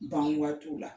Ban waatiw la